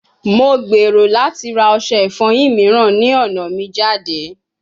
Mo gbero lati ra ose ifoyin miiran ni ọna mi jade